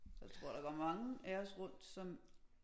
Jeg tror der går mange af os rundt som